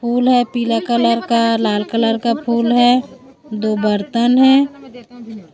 फूल है पीला कलर का लाल कलर का फूल है दो बर्तन है।